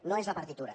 no és la partitura